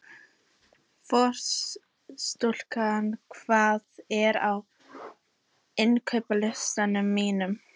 Frostúlfur, hvað er á innkaupalistanum mínum?